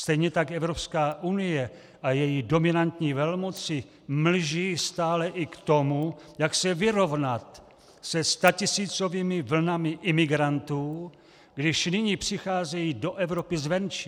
Stejně tak Evropská unie a její dominantní velmoci mlží stále i k tomu, jak se vyrovnat se statisícovými vlnami imigrantů, když nyní přicházejí do Evropy zvenčí.